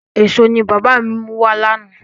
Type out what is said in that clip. Èso ni bàbá mi mú wá lánàá.